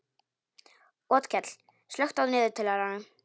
Otkell, slökktu á niðurteljaranum.